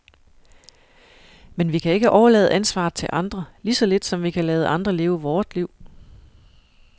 Men vi kan ikke overlade ansvaret til andre, lige så lidt som vi kan lade andre leve vort liv.